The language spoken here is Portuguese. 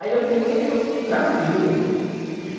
Aí eu fiquei tranquilo.